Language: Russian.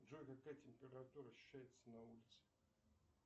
джой какая температура ощущается на улице